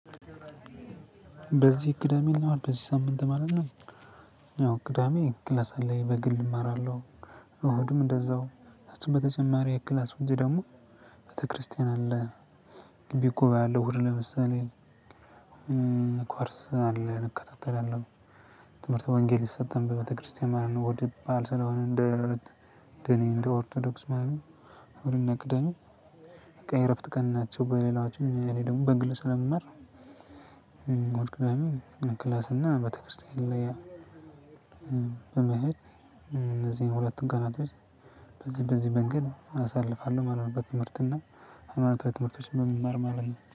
በዚህ ቅዳሜ እና እሁድ በዚህ ሳምንት ማለት ነው። ያው ቅዳሜ ክላስ አለኝ በግል እማራለሁ። እሁድም እንደዛው ከሱም በተጨማሪ ከክላስ ውጪ ደግሞ ቤተክርስቲያን አለ። ግቢ ጉባኤ አለ እሁድ ለምሳሌ። ኮርስ አለ እንከታተላለን ትምህርተ ወንጌል ይሰጣል በቤተክርስቲያን ማለት ነው። እሁድ በዓል ስለሆነ እንደ እኔ እንደ ኦርቶዶክስ ማለት ነው። እሁድና ቅዳሜ የእረፍት ቀን ናቸው። በሌላዎቹ እኔ ደግሞ በግል ስለምማር። ክላስና ቤተክርስቲያን ላይ በመሄድ እነዚህን ሁለቱን ቀናቶች በዚህ በዚህ መንገድ አሳልፋለሁ ማለት ነው። በትምህርትና ሃይማኖታዊ ትምህርቶችን በመማር ማለት ነው